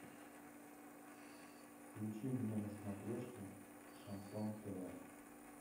включи мне на смотрешке шансон тв